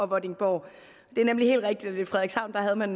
vordingborg det er nemlig helt rigtigt at i frederikshavn havde man